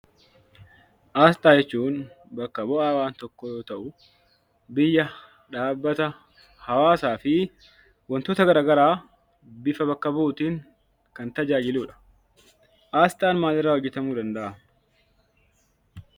Asxaa jechuun; bakka bu'a waan tokkoo yoo ta'u, biyya, dhaabbata, hawaasafi wantoota garaagaraa bifa bakka bu'uttin Kan taajajiluudha. Asxaan maal irraa hojetamuu danda'a?